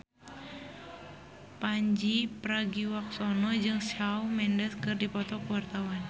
Pandji Pragiwaksono jeung Shawn Mendes keur dipoto ku wartawan